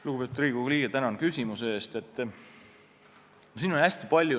Lugupeetud Riigikogu liige, tänan küsimuse eest!